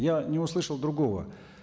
я не услышал другого